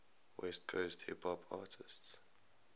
west coast hip hop artists